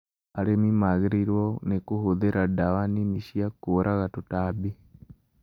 Arĩmi magĩrĩirwo nĩ kũhũthĩra ndawa nini cia kũraga tũtambi